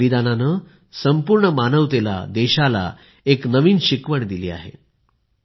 या बलिदानाने संपूर्ण मानवतेला देशाला एक नवीन शिकवण दिली आहे